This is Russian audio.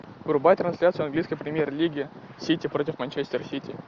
врубай трансляцию английской премьер лиги сити против манчестер сити